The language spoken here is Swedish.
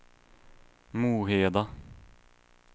Moheda